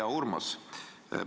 Hea Urmas!